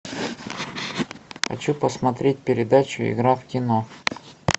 хочу посмотреть передачу игра в кино